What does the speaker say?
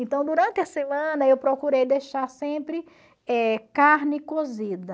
Então durante a semana eu procurei deixar sempre eh carne cozida,